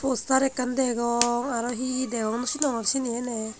poster ekkan degong aroo he he degong no senongor sini ene.